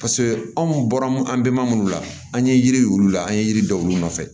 paseke anw bɔra mun an be maa munnu la an ye yiri y'u la an ye yiri dɔw nɔfɛ